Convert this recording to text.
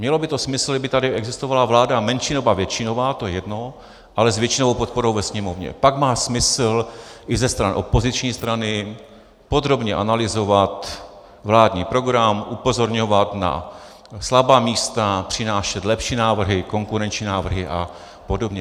Mělo by to smysl, kdyby tady existovala vláda menšinová, většinová, to je jedno, ale s většinovou podporou ve Sněmovně, pak má smysl i ze stran opoziční strany podrobně analyzovat vládní program, upozorňovat na slabá místa, přinášet lepší návrhy, konkurenční návrhy a podobně.